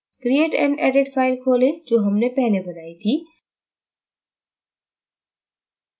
create and edit file खोलें जो हमने पहले बनाई थी